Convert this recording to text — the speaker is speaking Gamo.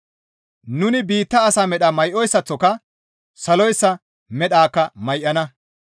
Nuni biitta asa medha may7oyssaththoka saloyssa medhakka may7ana.